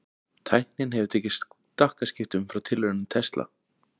Tæknin hefur tekið stakkaskiptum frá tilraunum Tesla.